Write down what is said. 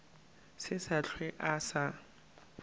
se sa hlwe a sa